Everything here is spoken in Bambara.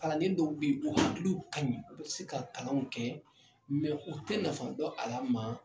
Kalanden dɔw bɛ yi u hakiliw ka ɲi u bɛ se ka kalanw kɛ u tɛ nafa dɔ a la maa